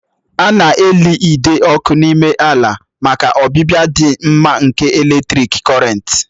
A na-eli ide ọkụ n'ime ala maka ọbịbịa dị mma nke eletrik Kọrịnt